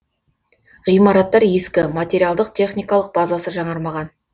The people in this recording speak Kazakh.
ғимараттар ескі материалдық техникалық базасы жаңармаған